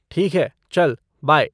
ठीक है, चल बाय।